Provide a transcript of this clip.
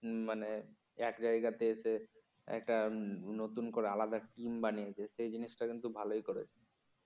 হম মানে এক জায়গার পেয়েছে একটা নতুন করে আলাদা টিম বানিয়ে দিয়েছে জিনিসটা কিন্তু ভালই করেছে